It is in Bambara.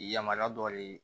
Yamaruya dɔ de ye